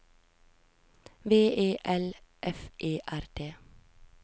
V E L F E R D